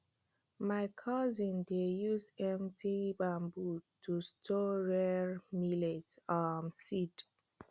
my cousin dey use empty bamboo to store rare millet um seed